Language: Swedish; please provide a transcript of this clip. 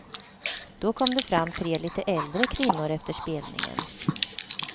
Då kom det fram tre lite äldre kvinnor efter spelningen.